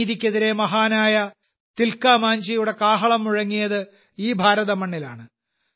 അനീതിക്കെതിരെ മഹാനായ തിൽകാമാഞ്ചിയുടെ കാഹളം മുഴങ്ങിയത് ഈ ഭാരത മണ്ണിലാണ്